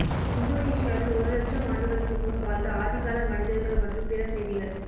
இந்தோனீசியாவில் ஒரு லட்சம் ஆண்டுகளுக்கு முன் வாழ்ந்த ஆதிகால மனிதர்கள் மற்றும் பிற செய்திகள்